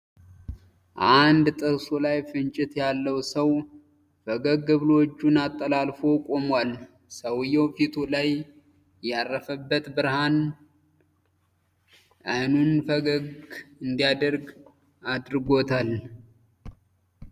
አንድ ጥርሱ ላይ ፍንጭት ያለው ሰው ፈገግ ብሎ እጁን አጠላልፎ ቆሟል። ሰውየው ፊቱ ላይ ያረፈበት ብርሃን አይኑን ጨፍገግ እንዲያደርግ አድርጎታል።